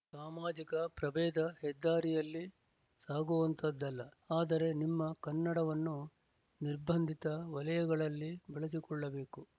ಸಾಮಾಜಿಕ ಪ್ರಭೇದ ಹೆದ್ದಾರಿಯಲ್ಲಿ ಸಾಗುವಂತಹದ್ದಲ್ಲ ಆದರೆ ನಿಮ್ಮ ಕನ್ನಡವನ್ನು ನಿರ್ಬಂದಿತ ವಲಯಗಳಲ್ಲಿ ಬಳಸಿಕೊಳ್ಳಬೇಕು